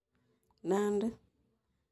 Nandi